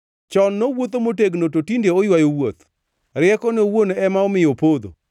Chon nowuotho motegno, to tinde oywayo wuoth, riekone owuon ema omiyo opodho.